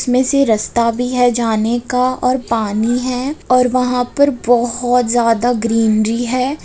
जिसमें से रास्ता भी है जाने का और पानी है और वहां पर बहुत ज्यादा ग्रीनरी है।